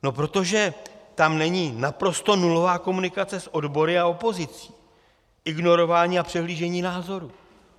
No protože tam není naprosto nulová komunikace s odbory a opozicí, ignorování a přehlížení názorů.